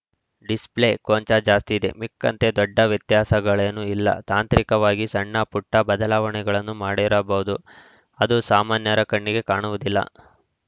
display ಕೊಂಚ ಜಾಸ್ತಿಯಿದೆ ಮಿಕ್ಕಂತೆ ದೊಡ್ಡ ವ್ಯತ್ಯಾಸಗಳೇನೂ ಇಲ್ಲ ತಾಂತ್ರಿಕವಾಗಿ ಸಣ್ಣಪುಟ್ಟಬದಲಾವಣೆಗಳನ್ನು ಮಾಡಿರಬಹುದು ಅದು ಸಾಮಾನ್ಯರ ಕಣ್ಣಿಗೆ ಕಾಣುವುದಿಲ್ಲ